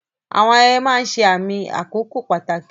Àwọn ayẹyẹ máa ń ṣe àmì àkókò pàtàkì.